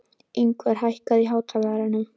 Yngvar, hækkaðu í hátalaranum.